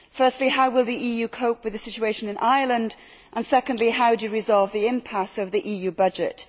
Firstly, how will the EU cope with the situation in Ireland and secondly, how to resolve the impasse of the EU budget.